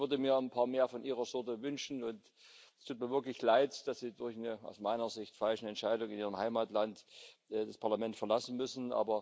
Ich würde mir ein paar mehr von Ihrer Sorte wünschen, und es tut mir wirklich leid, dass Sie durch eine aus meiner Sicht falsche Entscheidung in Ihrem Heimatland das Parlament verlassen müssen.